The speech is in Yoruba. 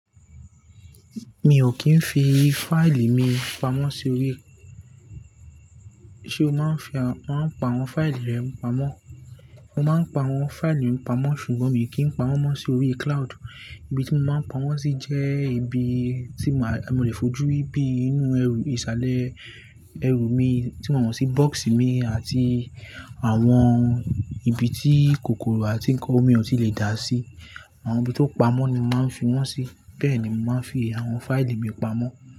Mi ò kí ń fi fáìlì mi pamọ́ sí orí, ṣe o máa ń fi, máa ń pa àwọn fáìlì rẹ pamọ́? Mo máa ń pa àwọn fáìlì mi pamọ́ ṣùgbọ́n mi kì í pa wọ́n mọ́ sí orí cloud. Ibi tí mo máa ń pa wọ́n sí jẹ́ ibi tí mó, mo lè fojú ríi bi inú ẹrù, ìsàlẹ̀ ẹrù mi tí mo mọ̀ sí bọ́ọ̀sì mi àti àwọn ibi tí kòkòrò àti nǹkan omi ò tí lè dà sí. Àwọn ibi tó pamọ́ ni mo máa ń fi wọ́n sí. Bẹ́ẹ̀ ni mo máa ń fi àwọn fáìlì mi pamọ́